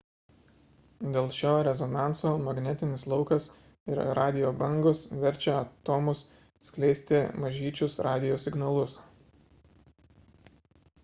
dėl šio rezonanso magnetinis laukas ir radijo bangos verčia atomus skleisti mažyčius radijo signalus